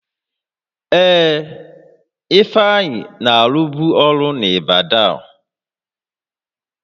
Ee, Ifeanyị na-alụbụ ọrụ n'Ịbadan